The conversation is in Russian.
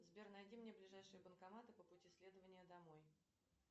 сбер найди мне ближайшие банкоматы по пути следования домой